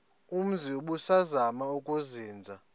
umzi ubusazema ukuzinza